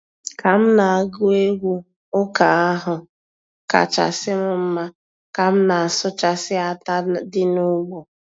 Ka m na-agụ egwu ụka ahụ kachasị m mma ka m na-asụchasị átá dị n'ugbo.